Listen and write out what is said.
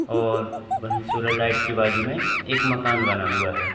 और वही सूरज लाइट की बाजू में एक मकान बना हुआ है।